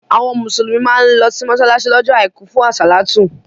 Àwọn Mùsùlùmí má ń lọ sí mọ́ṣáláṣí lọ́jọ́ àìkú fún àsálàtú